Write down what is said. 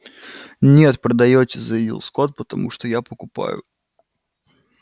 нет продаёте заявил скотт потому что я покупаю